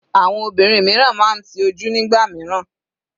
Àwọn obìnrin mìíràn máa ń ti ojú nígbà mìíràn.